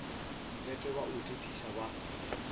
mpete ba o thethiša ba